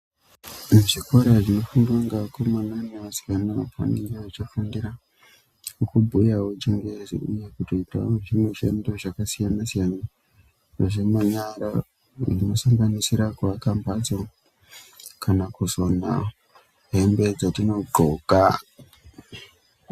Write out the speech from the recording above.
Zvikora zvinofundiwa ngevakomana nevasikanavanofundira kubhuyawo chingezi kutoitawo mushando yakasiyana siyana zvemanyara kusanganidira kuaka mhatso kana kusonawo hembe dzatinodxoka.